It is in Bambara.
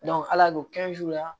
ala y'o kɛ la